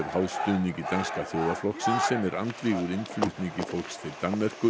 háð stuðningi Danska þjóðarflokksins sem er andvígur innflutningi fólks til Danmerkur